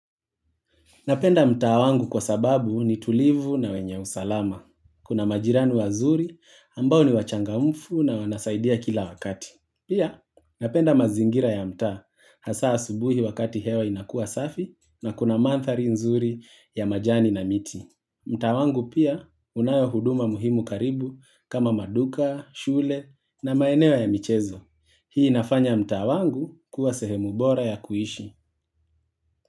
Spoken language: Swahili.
Napenda mtaa wangu kwa sababu ni tulivu na wenye usalama. Kuna majirani wazuri ambao ni wachangamufu na wanasaidia kila wakati. Pia napenda mazingira ya mtaa hasaa asubuhi wakati hewa inakuwa safi na kuna manthari nzuri ya majani na miti. Mtaa wangu pia unayo huduma muhimu karibu kama maduka, shule na maeneo ya michezo. Hii nafanya mtaa wangu kuwa sehemu bora ya kuishi.